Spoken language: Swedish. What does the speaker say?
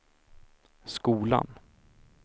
skolan